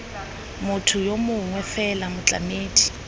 motho yo mongwe fela motlamedi